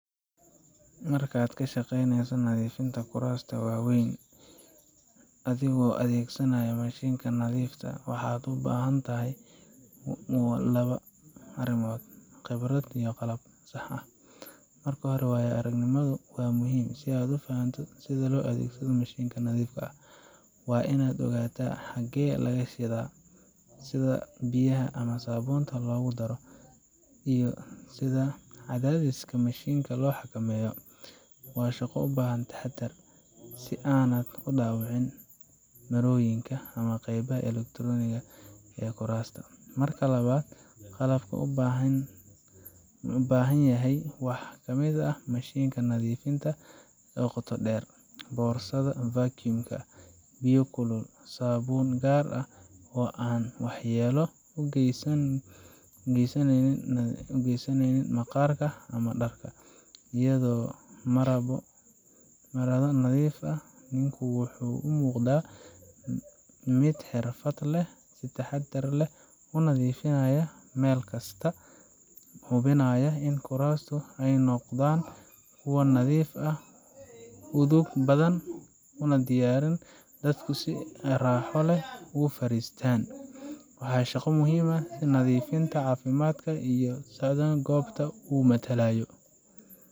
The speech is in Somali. Markaad ka shaqeyneyso nadiifinta kuraasta waaweyn , adigoo adeegsanaya mashiinka nadiifinta, waxaad u baahan tahay laba arrimood: khibrad iyo qalab sax ah. Marka hore, waayo aragnimadu waa muhiim si aad u fahanto sida loo adeegsado mashiinka nadiifinta waa inaad ogtahay xaggee laga shida, sida biyaha ama saabuunta loogu daro, iyo sida cadaadiska mashiinka loo xakameeyo. Waa shaqo u baahan taxaddar, si aanad u dhaawicin marooyinka ama qaybaha elektarooniga ah ee kuraasta. Marka labaad, qalabka loo baahan yahay waxaa ka mid ah mashiinka nadiifinta qoto dheer , boorsada vacuum ka, biyo kulul, saabuun gaar ah oo aan waxyeello u geysan maqaarka ama dharka, iyo marado nadiif ah. Ninku wuxuu u muuqdaa mid xirfad leh, si taxaddar leh u nadiifinaya meel kasta, isagoo hubinaya in kuraasta ay noqdaan kuwo nadiif ah, udug badan, oo diyaarsan in dadku si raaxo leh ugu fariistaan. Waa shaqo muhiim u ah nadaafadda, caafimaadka, iyo sumcadda goobta uu matalayo.